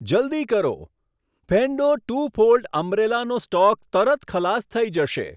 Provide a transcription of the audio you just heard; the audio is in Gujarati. જલદી કરો, ફેંડો ટુ ફોલ્ડ અમ્બ્રેલાનો સ્ટોક તરત ખલાસ થઈ જશે.